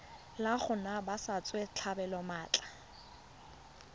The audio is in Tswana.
la go naya batswasetlhabelo maatla